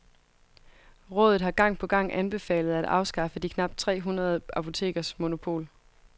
Rådet har gang på gang anbefalet at afskaffe de knapt tre hundrede apotekers monopol.